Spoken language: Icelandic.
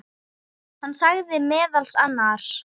Hann sagði meðal annars